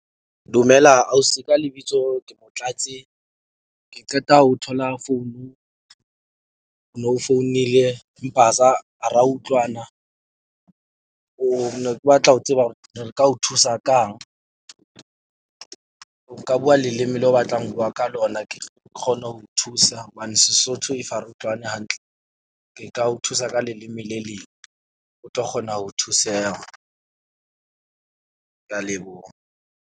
Dumela ausi, ka lebitso ke Motlatsi. Ke qeta ho thola founu. Ho no founile Mpaza ha ra utlwana. O ne ke batla ho tseba hore re ka o thusa kang? O ka bua leleme le o batlang ho bua ka lona. Ke tlo kgona ho thusa hobane Sesotho if ha re utlwane hantle. Ke ka o thusa ka leleme le leng o tlo kgona ho thuseha. Ke a leboha.